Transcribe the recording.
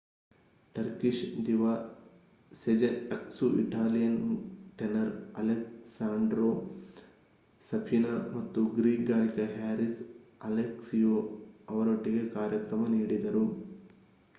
Turkish diva Sezen Aksu Italian tenor Alessandro Safina ಮತ್ತು Greek ಗಾಯಕ Haris Alexiou ಅವರೊಟ್ಟಿಗೆ ಕಾರ್ಯಕ್ರಮ ನೀಡಿದರು